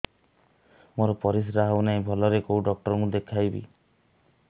ମୋର ପରିଶ୍ରା ହଉନାହିଁ ଭଲରେ କୋଉ ଡକ୍ଟର କୁ ଦେଖେଇବି